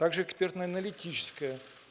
также экспертно-аналитическое